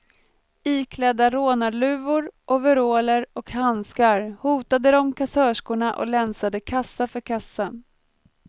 Iklädda rånarluvor, overaller och handskar hotade de kassörskorna och länsade kassa för kassa.